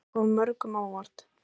Þetta hefur komið mörgum á óvart